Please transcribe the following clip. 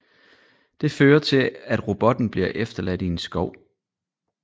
Det fører til at robotten bliver efterladt i en skov